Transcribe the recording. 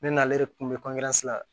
Ne n'ale de kun bɛ la